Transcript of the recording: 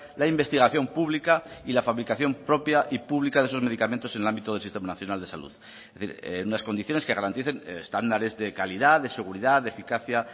la investigación pública y la fabricación propia y pública de esos medicamentos en el ámbito del sistema nacional de salud es decir en unas condiciones que garanticen estándares de calidad de seguridad de eficacia